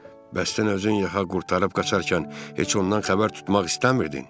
Bəs sən özün yaxa qurtarıb qaçarkən heç ondan xəbər tutmaq istəmirdin?